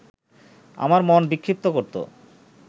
আমার মন বিক্ষিপ্ত করত